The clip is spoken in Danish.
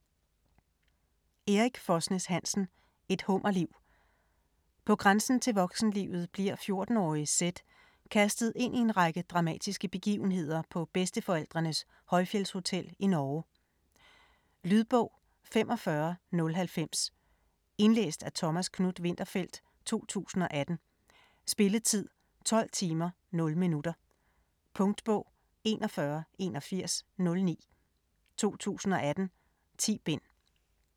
Hansen, Erik Fosnes: Et hummerliv På grænsen til voksenlivet bliver 14-årige Sedd kastet ind i en række dramatiske begivenheder på bedsteforældrenes højfjeldshotel i Norge. Lydbog 45090 Indlæst af Thomas Knuth-Winterfeldt, 2018. Spilletid: 12 timer, 0 minutter. Punktbog 418109 2018. 10 bind.